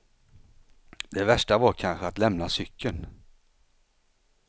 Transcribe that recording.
Det värsta var kanske att lämna cykeln.